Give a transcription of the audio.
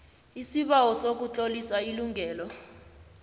isibawo sokutlolisa ilungelo